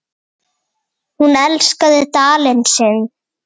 Hún elskaði Dalinn sinn.